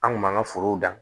An kun b'an ka forow dan